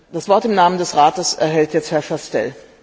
Das Wort im Namen des Rates erhält jetzt Herr Chastel.